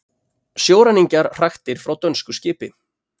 Sjóræningjar hraktir frá dönsku skipi